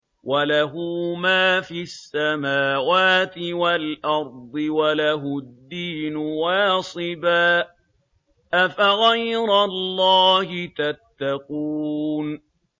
وَلَهُ مَا فِي السَّمَاوَاتِ وَالْأَرْضِ وَلَهُ الدِّينُ وَاصِبًا ۚ أَفَغَيْرَ اللَّهِ تَتَّقُونَ